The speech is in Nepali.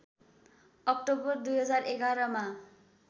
अक्टोबर २०११ मा